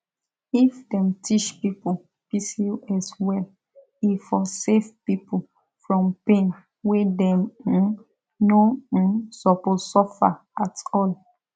if dem teach people pcos well e for save people from pain wey dem um no um suppose suffer at all